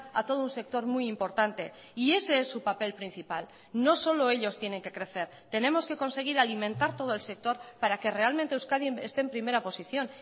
a todo un sector muy importante y ese es su papel principal no solo ellos tienen que crecer tenemos que conseguir alimentar todo el sector para que realmente euskadi esté en primera posición